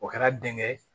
O kɛra denkɛ